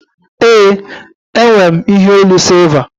Ee, enwe m ihe onu sịlva